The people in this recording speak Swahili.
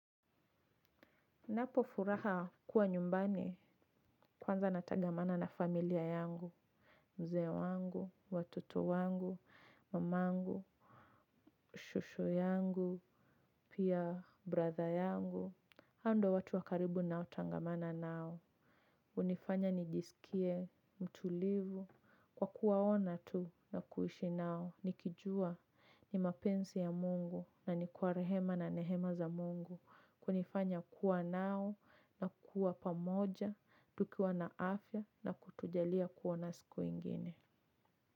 Napofuraha kuwa nyumbani kwanza natagamana na familia yangu, mzee wangu, watoto wangu, mama yangu, shushu yangu, pia brother yangu, hao ndio watu wa karibu ninaotangamana nao. Hunifanya nijisikie mtulivu kwa kuwaona tu na kuishi nao. Nikijua ni mapenzi ya Mungu na ni kwa rehema na neema za Mungu. Kunifanya kuwa nao na kuwa pamoja, tukiwa na afya na kutujalia kuona siku nyingine.